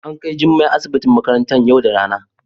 a An Kai jummai asibitin makarantan yau da rana.